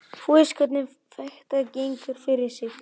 Þú veist hvernig þetta gengur fyrir sig.